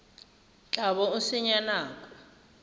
tla bo o senya nako